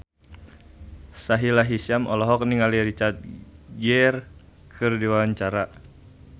Sahila Hisyam olohok ningali Richard Gere keur diwawancara